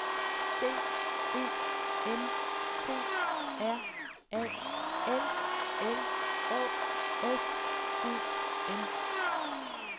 C E N T R A L L Å S E N